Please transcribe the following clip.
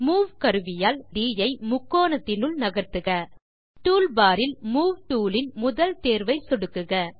move கருவியால் புள்ளி ட் ஐ முக்கோணத்தினுள் நகர்த்துக டூல்பார் இல் மூவ் டூல் இன் முதல் தேர்வை சொடுக்குக